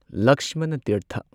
ꯂꯛꯁꯃꯅꯥ ꯇꯤꯔꯊ